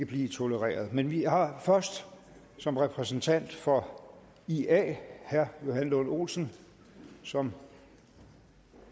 blive tolereret men vi har først som repræsentant for ia herre johan lund olsen som